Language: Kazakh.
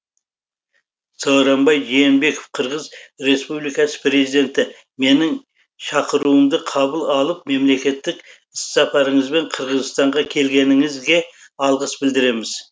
сооронбай жээнбеков қырғыз республикасының президенті менің шақыруымды қабыл алып мемлекеттік іссапарыңызбен қырғызстанға келгеніңізге алғыс білдіреміз